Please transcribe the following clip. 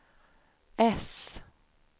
äss